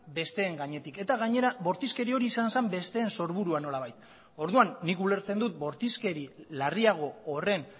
besteen gainetik eta gainera bortizkeri hori izan zen besteen sorburua nolabait orduan nik ulertzen dut bortizkeri larriago horren